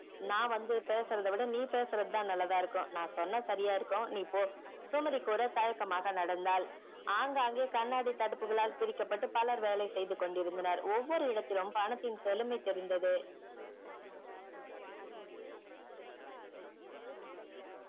நான் வந்து பேசுறது விட நீ வந்து பேசுறது நல்ல தான் இருக்கும் நான் சொன்ன சரியாய் இருக்கும் நீ போ சுமதி கூட தயக்கம்மாக நடந்தால் ஆகாங்கே கண்ணாடி தடுப்புகளால் பிரிக்க பட்டு பலர் வேலை செய்து கொண்டிருந்தனர் ஒவ்வொரு எடத்திலும் பணத்தின் செழுமை தெரிந்தது